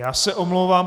Já se omlouvám.